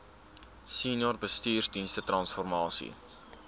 senior bestuursdienste transformasie